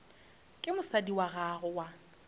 ke mosadi wa gago wa